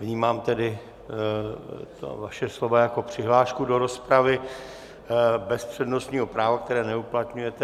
Vnímám tedy vaše slova jako přihlášku do rozpravy bez přednostního práva, které neuplatňujete.